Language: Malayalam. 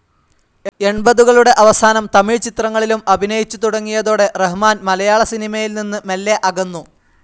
എൺപതുകളുടെ അവസാനം തമിഴ് ചിത്രങ്ങളിലും അഭിനയിച്ചു തുടങ്ങിയതോടെ റഹ്മാൻ മലയാള സിനിമയിൽ നിന്ന് മെല്ലെ അകന്നു.